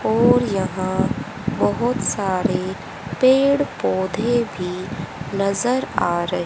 और यहां बहोत सारे पेड़ पौधे भी नजर आ रहे--